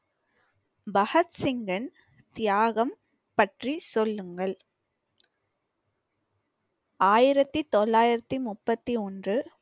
பகத்சிங்கின் தியாகம் பற்றி சொல்லுங்கள். ஆயிரத்தி தொள்ளாயிரத்தி முப்பத்தி ஒன்று